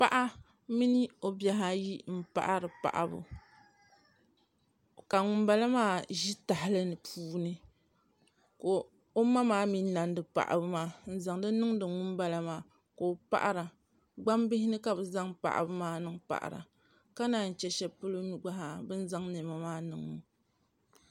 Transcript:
Paɣa mini o bihi ayi n paɣari paɣabu ka ŋun bala maa bɛ tahali puuni ka o ma maa mii nandi paɣabu maa n zaŋdi niŋdi ŋunbala maa ka o paɣara gbambili ni ka bi zaŋ paɣabu maa niŋ paɣara ka naan chɛ shɛli polo mii gba haa bin zaŋ niɛma maa niŋ